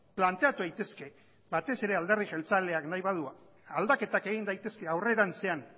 planteatu daitezke batez ere alderdi jeltzaleak nahi badu aldaketak egin daitezke aurrerantzean